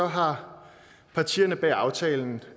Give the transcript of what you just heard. har partierne bag aftalen